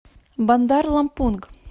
бандар лампунг